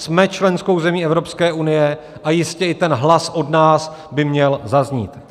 Jsme členskou zemí Evropské unie a jistě i ten hlas od nás by měl zaznít.